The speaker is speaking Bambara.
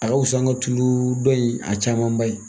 A ka wusa an ka tulu dɔ in a camanba ye